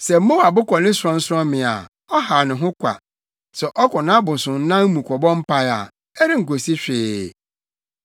Sɛ Moab kɔ ne sorɔnsorɔmmea a ɔhaw ne ho kwa; sɛ ɔkɔ nʼabosonnan mu kɔbɔ mpae a, ɛrenkosi hwee.